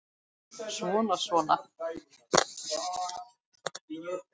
Svona. svona